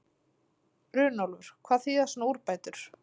Runólfur, hvað þýða svona úrbætur?